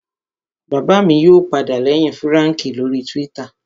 Bàbá mi yóò padà lẹ́yìn Fúràǹkì lórii túwítà